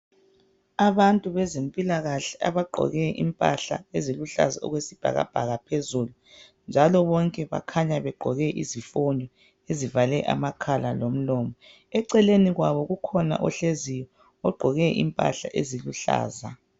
Abantu bezempilakahle abagqoke impahla eziluhlaza okwesibhakabhaka phezulu njalo bonke bakhanya begqoke izifonyo ezivale amakhala lomlomo. Eceleni kwabo kukhona ohleziyo ogqoke impahla eziluhlaza.